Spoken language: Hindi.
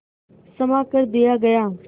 क्षमा कर दिया गया